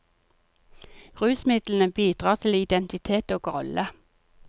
Rusmidlene bidrar til identitet og rolle.